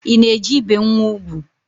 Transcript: I na-eje ibe nwa ugwu?